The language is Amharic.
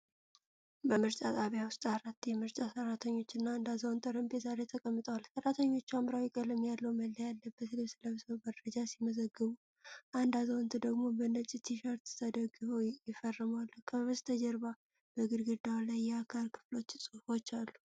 በምርጫ ጣቢያ ውስጥ አራት የምርጫ ሠራተኞችና አንድ አዛውንት ጠረጴዛ ላይ ተቀምጠዋል። ሠራተኞቹ ሐምራዊ ቀለም ያለው መለያ ያለበት ልብስ ለብሰው መረጃ ሲመዘግቡ፣ አንድ አዛውንት ደግሞ በነጭ ቲ-ሸርት ተደግፈው ይፈርማሉ። ከበስተጀርባ በግድግዳው ላይ የአካል ክፍሎች ጽሑፎች አሉ።